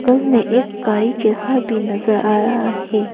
बगल में एक गाड़ी जैसा भी नजर आ रहा है।